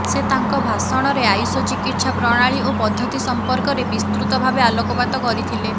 ସେ ତାଙ୍କ ଭାଷଣରେ ଆୟୁଷ ଚିକିତ୍ସା ପ୍ରଣାଳୀ ଓ ପଦ୍ଧତି ସମ୍ପର୍କରେ ବିସ୍ତୃତ ଭାବେ ଆଲୋକପାତ କରିଥିଲେ